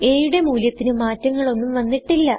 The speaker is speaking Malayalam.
a യുടെ മൂല്യത്തിന് മാറ്റങ്ങളൊന്നും വന്നിട്ടില്ല